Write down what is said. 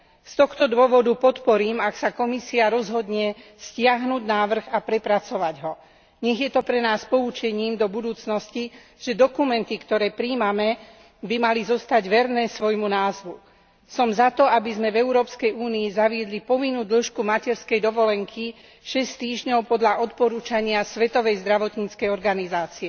Z tohto dôvodu podporím, ak sa Komisia rozhodne stiahnuť návrh a prepracovať ho. Nech je to pre nás poučením do budúcnosti, že dokumenty, ktoré prijímame, by mali zostať verné svojmu názvu. Som za to, aby sme v Európskej únii zaviedli povinnú dĺžku materskej dovolenky 6 týždňov podľa odporúčania Svetovej zdravotníckej organizácie.